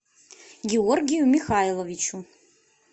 георгию михайловичу